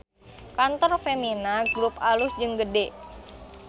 Kantor Femina Grup alus jeung gede